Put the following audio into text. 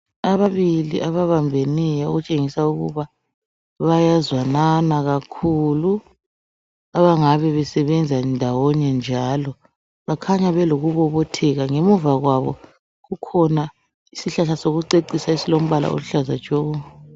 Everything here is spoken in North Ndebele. Ababili ababambeneyo okutshengisa ukuba bayazwanana kakhulu , abangabe besebenza ndawonye njalo bakhanya belokubobotheka. Ngemuva kwabo kukhona isihlahla sokucecisa esilombala oluhlaza tshoko.